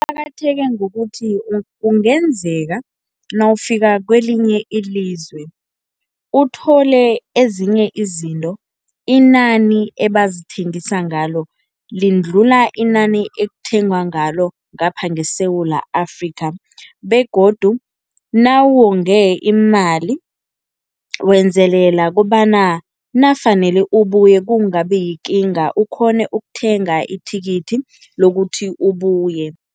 Kuqakatheke ngokuthi kungenzeka nawufika kwelinye ilizwe uthole ezinye izinto inani ebazithengisa ngalo lindlula inani ekuthengwa ngalo ngapha ngeSewula Afrika begodu nawuwonge imali wenzelela kobana nafanele ubuye kungabi yikinga, ukghone ukuthenga ithikithi lokuthi ubuye.